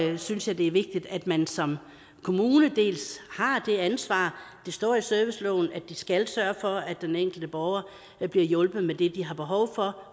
synes jeg det er vigtigt at man som kommune dels har det ansvar det står i serviceloven at de skal sørge for at den enkelte borger bliver hjulpet med det de har behov for